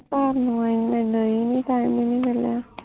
ਘਰ ਨੂੰ ਆਏ ਨੂੰ ਮੈਂਨੂੰ ਈ ਨੀ Time ਨੀ ਮਿਲਿਆ